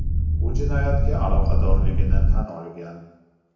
U jinoyatga aloqadorligini tan olgan.